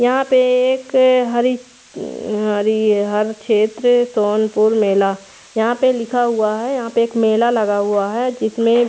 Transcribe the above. यहाँ पे एक ए हरी हरी है हर छेत्र सोन पुर मेला यहाँ पे लिखा है यहाँ पे एक मेला लगा हुआ है जिसमे--